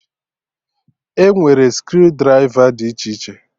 E nwere screw drịva dị iche iche